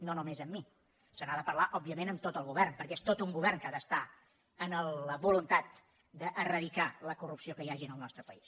no només amb mi se n’ha de parlar òbviament amb tot el govern perquè és tot un govern que ha d’estar amb la voluntat d’eradicar la corrupció que hi hagi en el nostre país